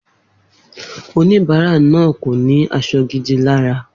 Oníbárà náà kò ní as̩o̩ gidi lára